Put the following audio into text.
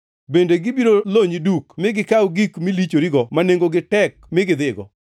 Bende gibiro lonyi duk mi gikaw gik milichorigo ma nengogi tek mi gidhigo.